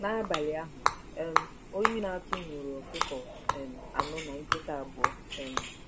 N'abalị ahụ, um oyi na-atụ nwuru ọkụkọ um anọ na nkịta abụọ um!